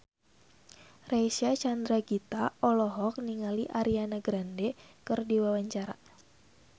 Reysa Chandragitta olohok ningali Ariana Grande keur diwawancara